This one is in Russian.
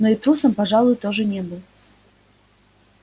но и трусом пожалуй тоже не был